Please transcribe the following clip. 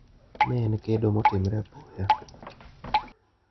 Ne en kedo motimre apoya.